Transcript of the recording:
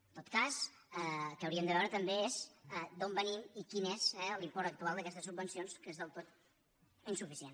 en tot cas el que hauríem de veure també és d’on venim i quin és eh l’import actual d’aquestes sub·vencions que és del tot insuficient